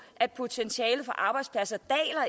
at potentialet for arbejdspladser